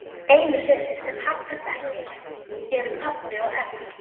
Einu sem haggast ekki eru pabbi og Erna.